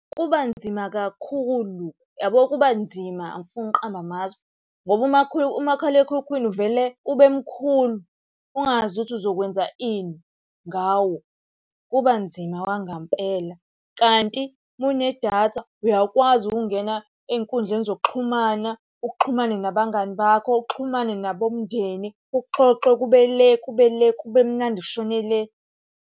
Kubanzima kakhulu, yabo kuba nzima angifuni ukuqamba amaspho. Ngoba umakhalekhukhwini uvele ube mkhulu ungazi ukuthi uzokwenza ini ngawo, kuba nzima okwangampela. Kanti uma unedatha uyakwazi ukungena ey'nkundleni zokuxhumana, uxhumane nabangani bakho, uxhumane nabomndeni, kuxoxwe kube le, kube le, kube mnandi kushone le.